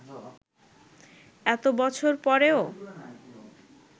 এত বছর পরেও